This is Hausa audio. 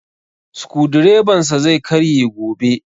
Sukudireban sa zai karye gobe